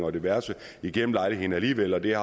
og diverse igennem lejligheden alligevel og det er